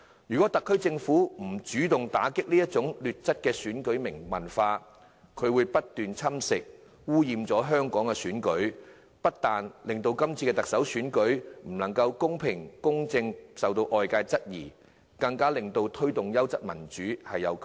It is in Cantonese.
如果特區政府不主動打擊這種劣質選舉文化，它會不斷侵蝕、污染香港的選舉，不單令今次的特首選舉是否能夠公平、公正進行受到外界質疑，更窒礙當局推動優質民主的努力。